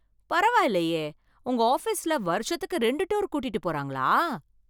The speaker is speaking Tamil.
பரவாயில்லையே, உங்க ஆபீஸ்ல வருஷத்துக்கு ரெண்டு டூர் கூட்டிட்டு போறாங்களா!